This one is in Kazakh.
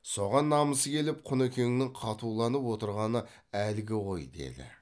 соған намысы келіп құнекеңнің қатуланып отырғаны әлгі ғой деді